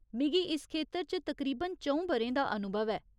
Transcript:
मिगी इस खेतर च तकरीबन च'ऊं ब'रें दा अनुभव ऐ।